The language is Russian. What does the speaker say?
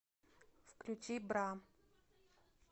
включи бра